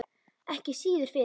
Ekki síður fyrir